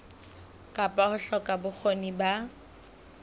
kapa ho hloka bokgoni ba